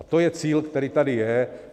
A to je cíl, který tady je.